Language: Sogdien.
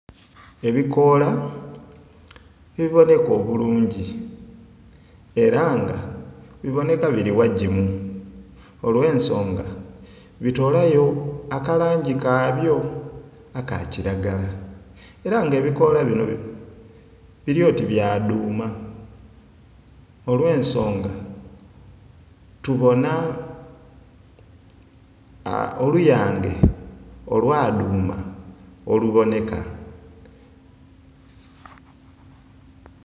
Ebikoola ebiboneka obulungi era nga biboneka biri ghagimu olw'ensonga bitolayo akalangi kabyo aka kiragala era nga ebikoola bino biri oti bya dhuuma olw'ensonga tubona oluyange olwa dhuuma oluboneka.